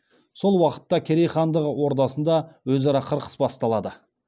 сол уақытта керей хандығы ордасында өзара қырқыс басталады